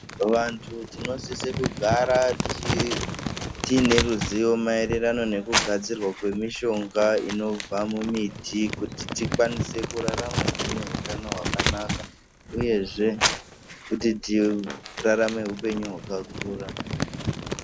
Vantu tinosise kugara tiine ruzivo maererano nekugadzirwa kwemishonga inobva mumiti kuti tikwanise kurarama tine utano hwakanaka uyezve kuti tiratame upenyu hwakakura.